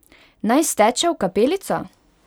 Naj steče v kapelico?